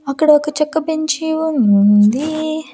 అక్కడ ఒక చెక్క బెంచీ ఉంది.